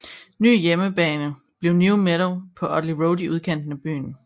Ny hjemmebane bliver New Meadow på Oteley Road i udkanten af byen